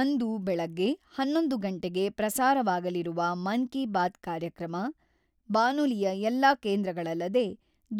ಅಂದು ಬೆಳಗ್ಗೆ ಹನ್ನೊಂದು ಗಂಟೆಗೆ ಪ್ರಸಾರವಾಗಲಿರುವ ಮನ್-ಕಿ-ಬಾತ್ ಕಾರ್ಯಕ್ರಮ ಬಾನುಲಿಯ ಎಲ್ಲಾ ಕೇಂದ್ರಗಳಲ್ಲದೆ,